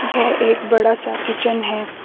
यह एक बड़ा सा किचन है।